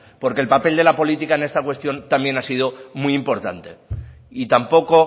porque el papel de la política en esta cuestión también ha sido muy importante y tampoco